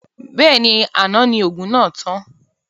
Bẹ́ẹ̀ni, àná ni òògùn náà tán